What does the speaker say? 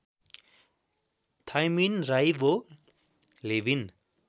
thymine राइवो Lewin